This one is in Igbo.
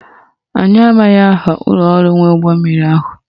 Anyị amaghị aha ụlọọrụ nwe ụgbọmmiri ahụ